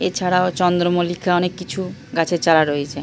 এছাড়াও চন্দ্রমল্লিকা অনেক কিছু গাছের চারা রয়েছে।